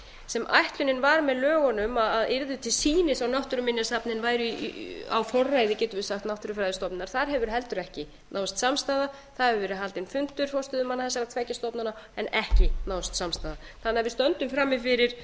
sem ætlunin var með lögunum að yrði til sýnis og náttúruminjasafnið væri á forræði getum við sagt náttúrufræðistofnunar þar hefur heldur ekki náðst samstaða það hefur verið haldinn fundur forstöðumanna þessara tveggja stofnana en ekki náðst samstaða þannig að við stöndum frammi fyrir